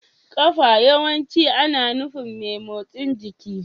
Kafa yawanci ana nufin mai motsin jiki.